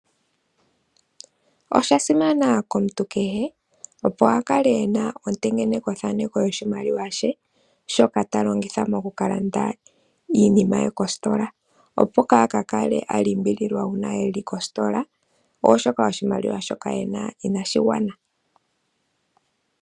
Oshasimana komuntu kehe opo akale ena ontengeneko thaneko yoshimaliwa she shoka talongitha mokukalanda iinima ye kositola, opo ka kakale alimbiliwa uuna eli kositola oshoka oshimiwa shoka ena inashigwana.